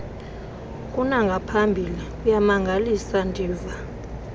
kunangaphambili kuyamangalisa ndiva